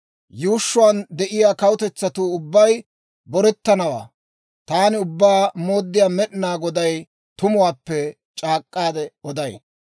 Yuushshuwaan de'iyaa kawutetsatuu ubbay borettanawaa taani Ubbaa Mooddiyaa Med'ina Goday tumuwaappe c'aak'k'aade oday.